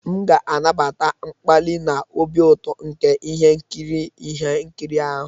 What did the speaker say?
M ga-anabata mkpali na obi ụtọ nke ihe nkiri ihe nkiri ahụ.